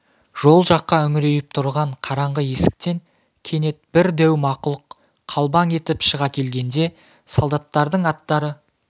жол жаққа үңірейіп тұрған қараңғы есіктен кенет бір дәу мақұлық қалбаң етіп шыға келгенде солдаттардың аттары